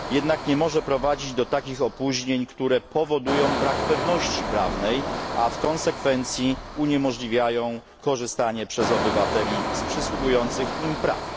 Jednak nie może prowadzić do takich opóźnień, które powodują brak pewności prawnej, a w konsekwencji uniemożliwiają korzystanie przez obywateli z przysługujących im praw.